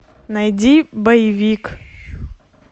найди боевик